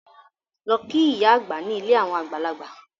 Lọ kí ìyá àgbà ní ilé àwọn àgbàlagbà!